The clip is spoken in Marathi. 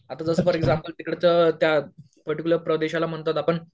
आता जसं फॉर एक्झाम्पल तिकडं त्या पर्टिक्युलर प्रदेशाला म्हणतात आपण